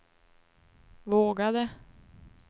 vågade